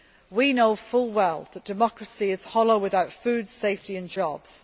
We know full well that democracy is hollow without food, safety, and jobs.